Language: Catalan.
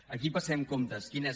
aquí passem comptes quin és